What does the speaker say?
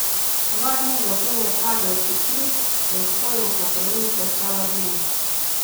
Dva dni zatem je padel Tikrit, prestolnica province Saladin.